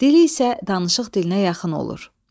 Dili isə danışıq dilinə yaxın olur.